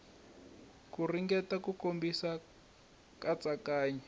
ku ringeta ku komisa katsakanya